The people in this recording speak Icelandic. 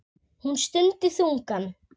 Hún stundi þungan.